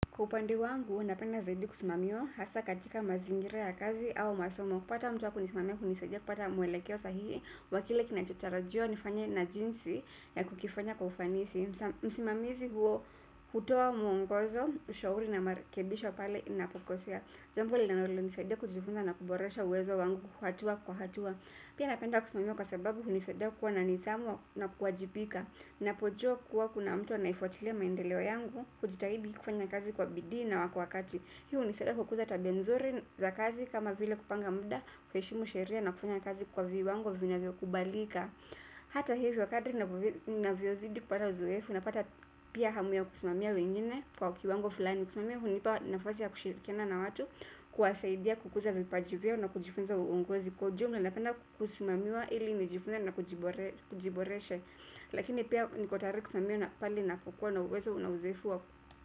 Kwa upande wangu napenda zaidi kusimamiwa hasa katika mazingira ya kazi au masomo. Kupata mtu wa kunisimamia kunisaidia kupata mwelekeo sahihi wa kile kinachotarajiwa nifanye na jinsi ya kukifanya kwa ufanisi. Msimamizi huo hutoa mwongozo, ushauri na marekebisho pale ninapokosea. Jambo linalonisaidia kujifunza na kuboresha uwezo wangu kwa hatua kwa hatua. Pia napenda kusimamiwa kwa sababu unisaidia kuwa na nidhamu na kuwajibika ninapojua kuwa kuna mtu anayefuatilia maendeleo yangu hujitahidi kufanya kazi kwa bidii na kwa wakati. Hii unisaidia kukuza tabia nzuri za kazi kama vile kupanga muda kuheshimu sheria na kufanya kazi kwa viwango vinavyokubalika. Hata hivyo kadri ninavyozidi kupata uzoefu napata pia hamu ya kusimamia wengine kwa ukiwango fulani kusimamia hunipa nafasi ya kushirikiana na watu kuwasaidia kukuza vipaji vyao na kujifunza uongozi kwa ujumla napenda kusimamiwa ili nijifunze na kujibore kujiboresha. Lakini pia niko tayari kusimamiwa na pale ninapokuwa na uwezo na uzoefu waku.